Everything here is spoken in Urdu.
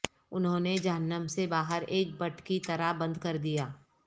انہوں نے جہنم سے باہر ایک بٹ کی طرح بند کر دیا